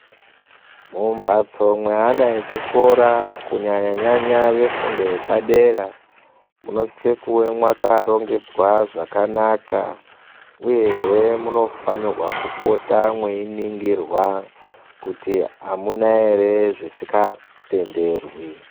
Mumphatso mweana echikora kunyanyanyanya vefundo yepadera munosise kuva mwakarongedzwa zvakanaka, uyehe munofanirwa kupota mweiningirwa, kuti amuna ere zvisingatenderwi.